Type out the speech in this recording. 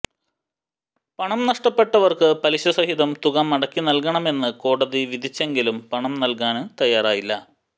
പണം നഷ്ടപ്പെട്ടവര്ക്ക് പലിശ സഹിതം തുക മടക്കി നല്കണമെന്ന് കോടതി വിധിച്ചെങ്കിലും പണം നല്കാന് തയ്യാറായില്ല